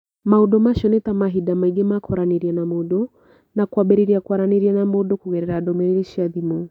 Maũndũ macio nĩ ta mahinda maingĩ ma kwaranĩria na mũndũ, na kwambĩrĩria kwaranĩria na mũndũ kũgerera ndũmĩrĩri cia thimũ.